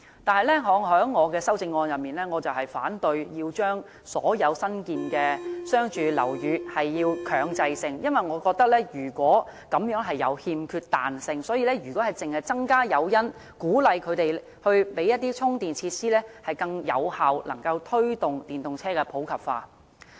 但是，我的修正案反對強制所有新建商住樓宇這樣做，因為我認為這樣欠缺彈性，如果只是增加誘因，鼓勵發展商提供充電設施，已能夠更有效地推動電動車普及化。